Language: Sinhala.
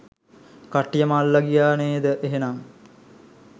කට්ටියටම අල්ලා ගියා නේද එහෙනම්.